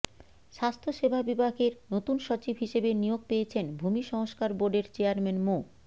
স্বাস্থ্য সেবা বিভাগের নতুন সচিব হিসেবে নিয়োগ পেয়েছেন ভূমি সংস্কার বোর্ডের চেয়ারম্যান মো